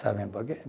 Sabem por quê?